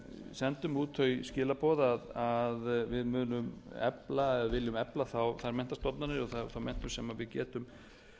sendum út þau skilaboð að við munum efla eða viljum efla þær menntastofnanir eða þá menntun sem við getum